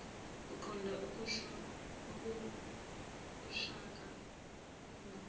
uqonda kushaka umbamba